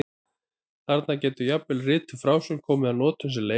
Þannig getur jafnvel rituð frásögn komið að notum sem leif.